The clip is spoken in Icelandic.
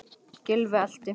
Gylfi elti.